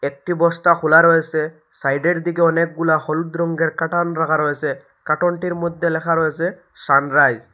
একটি বস্তা খোলা রয়েসে সাইডের দিকে অনেকগুলা হলুদ রঙ্গের কাটন রাখা রয়েসে কাটোনটির মধ্যে লেখা রয়েসে সানরাইজ ।